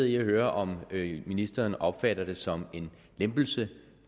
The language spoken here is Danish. i at høre om ministeren opfatter det som en lempelse